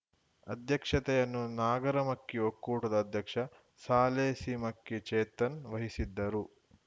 ಅಧ್ಯಕ್ಷತೆಯನ್ನು ನಾಗರಮಕ್ಕಿ ಒಕ್ಕೂಟದ ಅಧ್ಯಕ್ಷ ಸಾಲೇಸಿಮಕ್ಕಿ ಚೇತನ್‌ ವಹಿಸಿದ್ದರು